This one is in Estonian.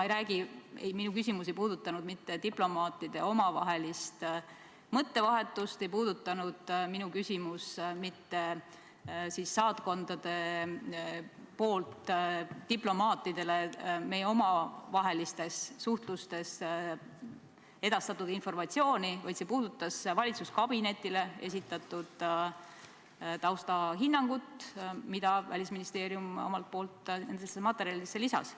Mu küsimus ei puudutanud mitte diplomaatide omavahelist mõttevahetust, mu küsimus ei puudutanud mitte saatkondadest diplomaatidele meie omavahelises suhtluses edastatud informatsiooni, vaid see puudutas valitsuskabinetile esitatud taustahinnangut, mille Välisministeerium omalt poolt nendesse materjalidesse lisas.